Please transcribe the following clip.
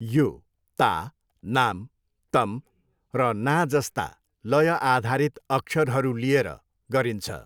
यो ता, नाम, तम र ना जस्ता लय आधारित अक्षरहरू लिएर गरिन्छ।